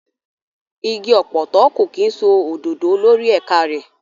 Igi ọ̀pọ̀tọ́ kò kí ń so òdòdó lórí ẹ̀ka rẹ̀.